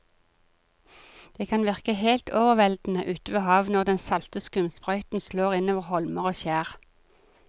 Det kan virke helt overveldende ute ved havet når den salte skumsprøyten slår innover holmer og skjær.